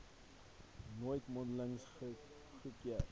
nooit mondelings goedgekeur